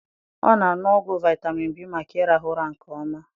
Ọ na aṅụ ọgwụ vitamin B maka irahu ụra nke ọma